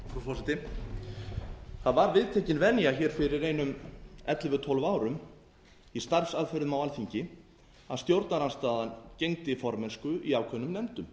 frú forseti það var viðtekin venja fyrir einum ellefu til tólf árum í starfsaðferðum á alþingi að stjórnarandstaðan gegndi formennsku í ákveðnum nefndum